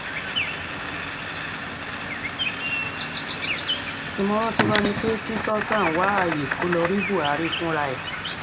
ìmọ̀ràn tiwa ni pé kí sultan wá ààyè kó lọ́ọ́ rí buhari fúnra ẹ̀